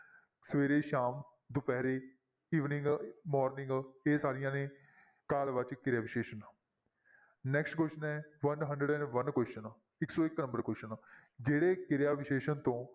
ਸਵੇਰੇ, ਸ਼ਾਮ, ਦੁਪਿਹਰੇ evening, morning ਇਹ ਸਾਰੀਆਂ ਨੇ ਕਾਲ ਵਾਚਕ ਕਿਰਿਆ ਵਿਸ਼ੇਸ਼ਣ next question ਹੈ one hundred and one question ਇੱਕ ਸੌ ਇੱਕ number question ਜਿਹੜੇ ਕਿਰਿਆ ਵਿਸ਼ੇਸ਼ਣ ਤੋਂ